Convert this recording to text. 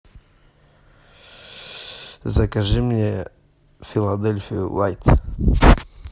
закажи мне филадельфию лайт